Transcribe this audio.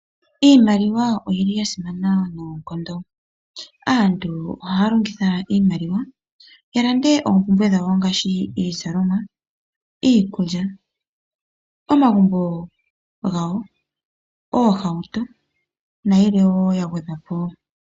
Iimaliwa oyili ya simana noonkondo. Aantu ohaya longitha iimaliwa ya lande oompumbwe dhawo ngashi iizalomwa, iikulya, omagumbo gawo, oohauto nayilwe wo ya gwedhwa po wo.